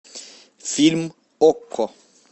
фильм окко